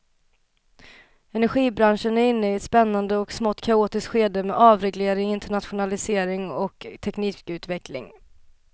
Energibranschen är inne i ett spännande och smått kaotiskt skede med avreglering, internationalisering och teknikutveckling.